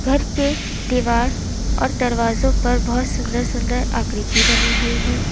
घर के दीवार और दरवाजों पर बहुत सुंदर सुंदर आकृति बनी हुई है।